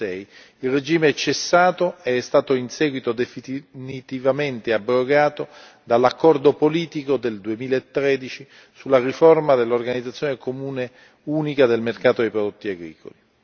2006. Il regime è quindi cessato ed è stato in seguito definitivamente abrogato dall'accordo politico del 2013 sulla riforma dell'organizzazione comune unica del mercato dei prodotti agricoli.